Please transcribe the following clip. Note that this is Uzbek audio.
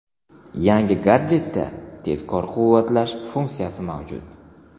Yangi gadjetda tezkor quvvatlash funksiyasi mavjud.